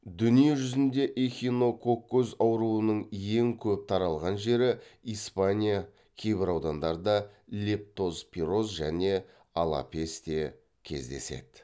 дүниежүзінде эхинококкоз ауруының ең көп таралған жері испания кейбір аудандарда лептозпирос және алапес те кездеседі